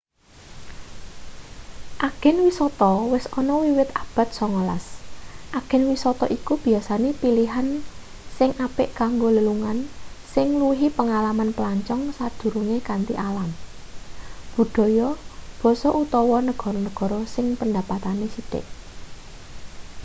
agen wisata wis ana wiwit abad 19 agen wisata iku biasane pilihan sing apik kanggo lelungan sing ngluwihi pengalaman pelancong sadurunge kanthi alam budhaya basa utawa negara-negara sing pendapatane sithik